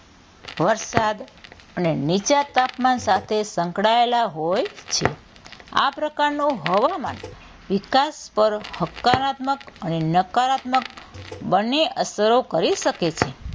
વરસાદ અને નીચા તાપમાન સાથે સંકળાયેલા હોય છે આ પ્રકારનો હવામાંન વિકાસ પર હકારાત્મક અને નકારાત્મક બંને અસરો કરી શકે છે.